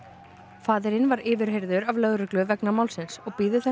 faðirinn var yfirheyrður af lögreglu vegna málsins og bíður